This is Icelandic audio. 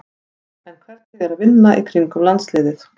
En hvernig er að vinna í kringum landsliðið?